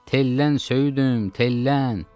Tellən söyüdüm, tellən!